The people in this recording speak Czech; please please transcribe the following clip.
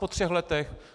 Po třech letech?